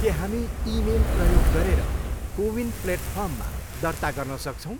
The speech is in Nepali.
के हामी इमेल प्रयोग गरेर कोविन प्लेटफर्ममा दर्ता गर्न सक्छौँ?